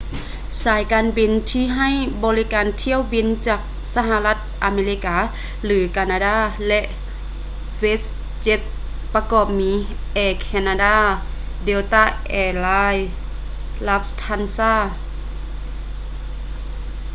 ສາຍການບິນທີ່ໃຫ້ບໍລິການຖ້ຽວບິນມາຈາກສະຫາລັດອາເມລິກາ ຫຼື ການາດາ ແລະ westjet ປະກອບມີ air canada delta air lines lufthansa